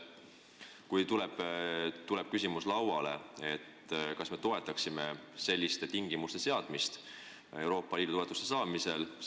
Kui see küsimus lauale tuleb, kas me siis toetaksime selliste tingimuste seadmist Euroopa Liidu toetuste saamiseks?